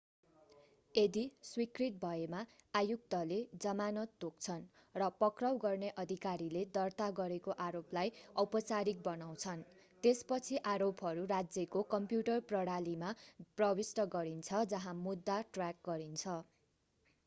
यदि स्वीकृत भएमा आयुक्तले जमानत तोक्छन् र पक्राउ गर्ने अधिकारीले दर्ता गरेको आरोपलाई औपचारिक बनाउँछन् त्यसपछि आरोपहरू राज्यको कम्प्युटर प्रणालीमा प्रविष्ट गरिन्छ जहाँ मुद्दा ट्र्याक गरिन्छ